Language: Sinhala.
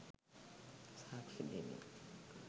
සාක්ෂි දෙමින්